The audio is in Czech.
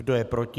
Kdo je proti?